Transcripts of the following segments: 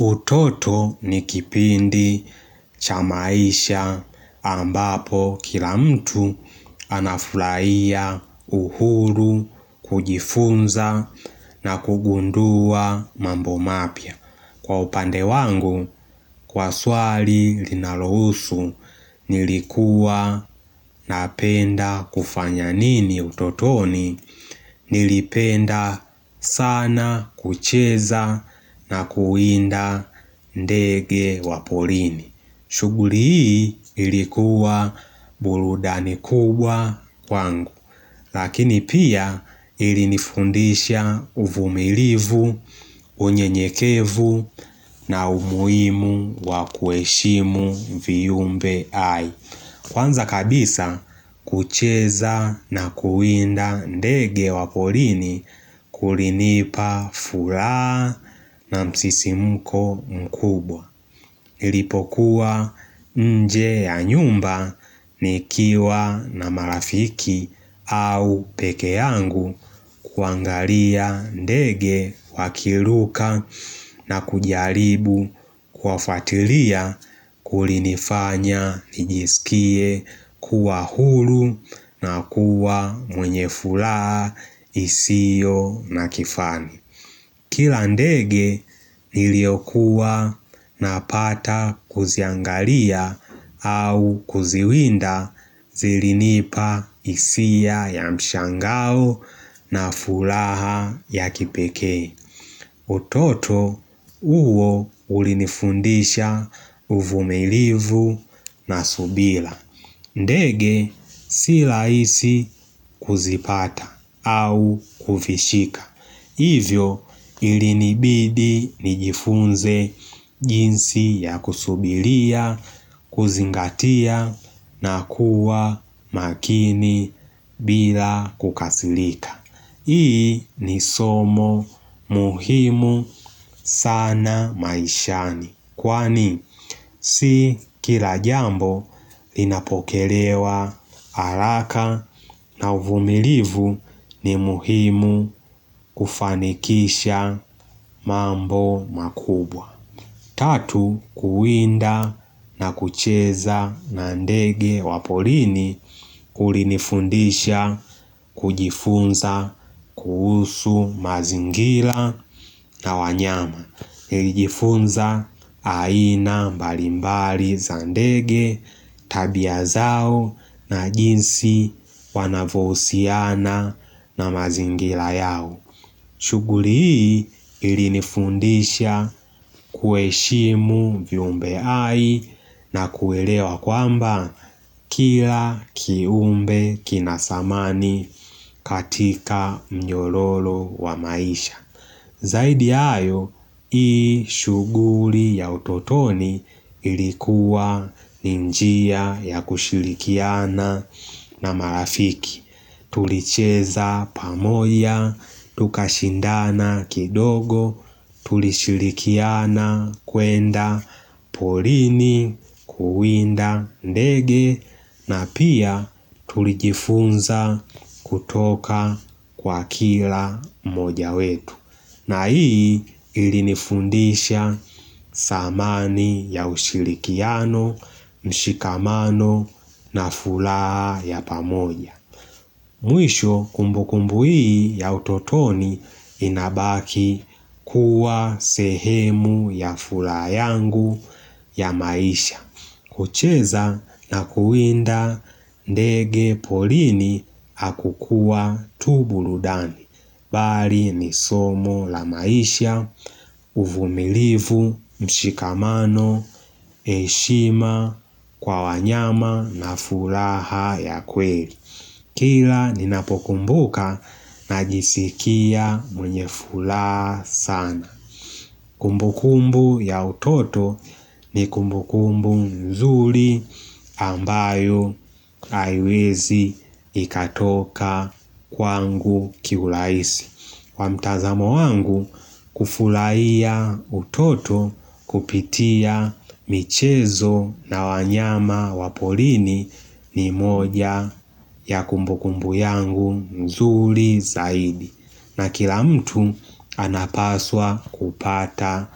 Utoto ni kipindi chamaisha ambapo kila mtu anafulaia uhuru kujifunza na kugundua mambo mapia. Kwa upande wangu, kwa swali linalohusu, nilikuwa napenda kufanya nini utotoni, nilipenda sana kucheza na kuinda ndege wapolini. Shuguli hii ilikuwa buludani kubwa kwangu Lakini pia ilinifundisha uvumilivu, unye nyekevu na umuimu wa kueshimu viyumbe hai Kwanza kabisa kucheza na kuinda ndege wapolini kulinipa fulaha na msisimuko mkubwa Nilipokuwa nje ya nyumba ni kiwa na marafiki au peke yangu kuangalia ndege wakiluka na kujaribu kuafatilia kulinifanya nijisikie kuwa hulu na kuwa mwenyefulaa isio na kifani Kila ndege niliyokuwa na pata kuziangalia au kuziwinda zilinipa isia ya mshangao na fulaha ya kipeke. Utoto uwo ulinifundisha uvumILivu na subila. Ndege si raisi kuzipata au kufishika. Hivyo ilinibidi nijifunze jinsi ya kusubiria, kuzingatia na kuwa makini bila kukasilika. Hii ni somo muhimu sana maishani. Kwani si kila jambo linapokelewa haraka na uvumilivu ni muhimu kufanikisha mambo makubwa Tatu kuwinda na kucheza na ndege wapolini kulinifundisha kujifunza kuhusu mazingila na wanyama lijifunza aina mbalimbali za ndege tabia zao na jinsi wanavousiana na mazingila yao shuguli hii ilinifundisha kueshimu viumbe hai na kuelewa kwamba kila kiumbe kinasamani katika mnyololo wa maisha Zaidi ya ayo, hii shuguli ya utotoni ilikuwa ni njia ya kushirikiana na marafiki. Tulicheza pamoya, tukashindana kidogo, tulishirikiana kwenda, polini, kuwinda ndege, na pia tulijifunza kutoka kwa kila mmoja wetu. Na hii ili nifundisha samani ya ushirikiano, mshikamano na fulaa ya pamoja. Mwisho kumbu kumbu hii ya utotoni inabaki kuwa sehemu ya fulaha yangu ya maisha. Kucheza na kuwinda ndege polini hakukua tu burudani. Bali ni somo la maisha, uvumilivu, mshikamano, heshima, kwa wanyama na fulaha ya kweli. Kila ninapokumbuka najisikia mwenye fulaha sana. Kumbukumbu ya utoto ni kumbukumbu nzuri ambayo aiwezi ikatoka kwa angu kiulaisi. Kwa mtazamo wangu kufulaiya utoto kupitia michezo na wanyama wapolini ni moja ya kumbukumbu yangu mzuri zaidi. Na kila mtu anapaswa kupata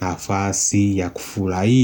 nafasi ya kufulahia.